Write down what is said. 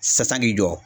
San k'i jɔ